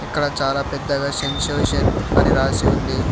అక్కడ చాలా పెద్దగా సెన్సేషన్ అని రాసి ఉంది.